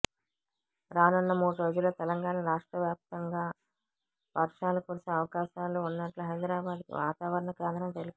రానున్న మూడు రోజుల్లో తెలంగాణ రాష్ట్ర వ్యాపితంగా వర్షాలు కురిసే అవకాశాలు ఉన్నట్లు హైదరా బాద్ వాతావరణ కేంద్రం తెలిపింది